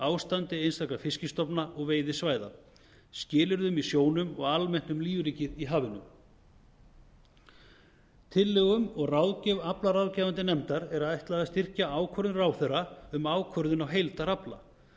ástandi einstakra fiskstofna og veiðisvæða skilyrðum í sjónum og almennt um lífríkið í hafinu tillögum og ráðgjöf aflaráðgefandi nefndar krónu m greinar innar er ætlað að styrkja ákvörðun ráðherra um ákvörðun á heildarafla